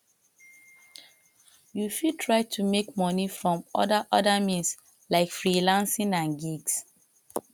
you fit try to make money from other other means like freelancing and gigs